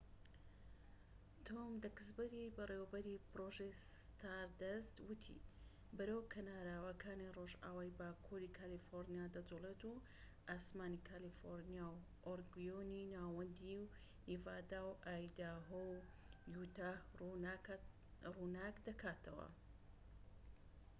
تۆم دەکسبەری بەڕێوەبەری پرۆژەی ستاردەست وتی بەرەو کەناراوەکانی رۆژئاوای باكووری کالیفۆرنیا دەجوڵێت و ئاسمانی کالیفۆرنیا و ئۆریگۆنی ناوەندی و نیڤادا و ئایداهۆ و یوتاه ڕووناک دەکاتەوە